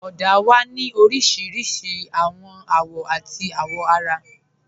Ọ̀dà wà ní oríṣiríṣí awọn awọ̀ àti awọ̀ara.